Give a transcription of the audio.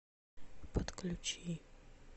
подключи